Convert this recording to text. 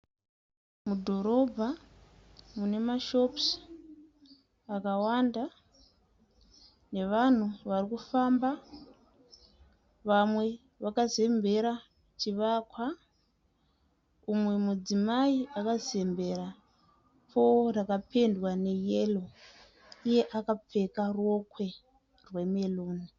Mudhorobha mune mashopusi akawanda nevanhu vari kufamba, vamwe vakazembera chivakwa. Umwe mudzimai akazembera poo rakapendwa neyero iye akapfeka rokwe remeruni.